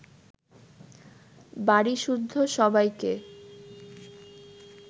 বাড়িসুদ্ধ সবাইকে